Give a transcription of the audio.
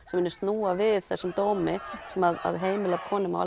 sem munu snúa við þessum dómi sem að heimili konum og